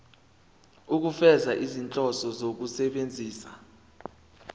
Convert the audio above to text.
ukufeza izinhloso zokusebenzisa